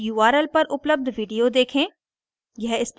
इस url पर उपलब्ध video देखें